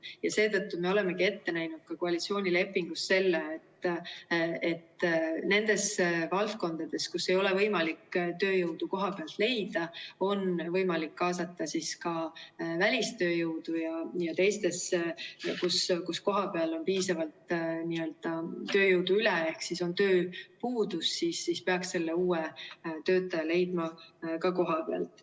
Ja seetõttu me olemegi ette näinud ka koalitsioonilepingus selle, et nendes valdkondades, kus ei ole võimalik tööjõudu kohapealt leida, on võimalik kaasata ka välistööjõudu, ja teistes, kus kohapeal on piisavalt tööjõudu ehk on tööpuudus, peaks selle uue töötaja leidma ka kohapealt.